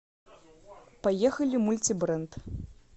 поехали мультибренд